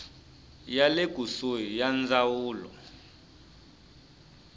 ya le kusuhi ya ndzawulo